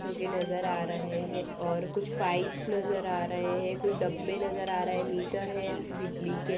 जो की नजर आ रहे है और कुछ पाइप्स नजर आ रहे हैं कुछ डब्बे नजर आ रहे हैं मीटर हैं बिजली के--